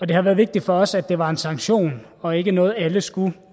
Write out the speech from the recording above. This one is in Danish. det har været vigtigt for os at det var en sanktion og ikke noget alle skulle